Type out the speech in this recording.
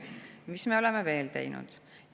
Mis me oleme veel teinud?